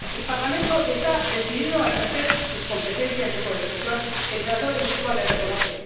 El Parlamento está decidido a ejercer sus competencias de codecisión que el Tratado de Lisboa le reconoce.